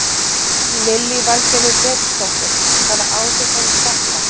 Lillý Valgerður Pétursdóttir: Hvaða áhrif hefur þetta?